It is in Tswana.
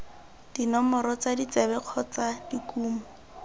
dinomoro tsa ditsebe kgotsa dikumo